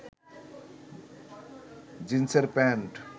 জিন্সের প্যান্ট